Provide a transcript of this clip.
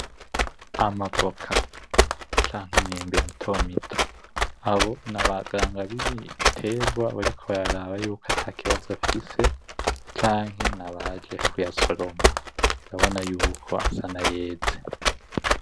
Amavoka canke imyembe mitomito abo nabaganga bimitegwa bariko bararaba yuko atikabazo afise canke nabaje kuyasoroma urabona yuko asa nayeze.